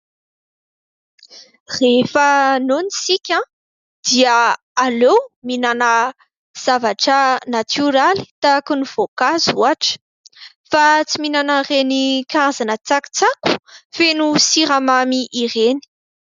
Rehefa noana isika dia aleo mihinana zavatra "natioraly" tahaka ny voankazo ohatra fa tsy mihinana ireny karazana tsakitsaky feno siramamy ireny.